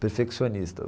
perfeccionista.